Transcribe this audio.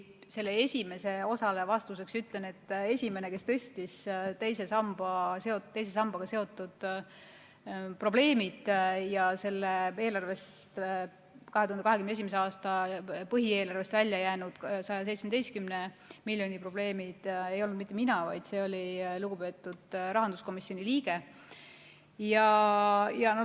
Ma sellele esimese osale ütlen vastuseks, et esimene, kes tõstatas teise sambaga seotud probleemid ja 2021. aasta põhieelarvest välja jäänud 117 miljoni euro probleemid, ei olnud mitte mina, vaid see oli lugupeetud rahanduskomisjoni liige.